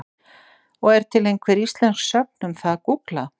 Og er til einhver íslensk sögn um það að gúgla?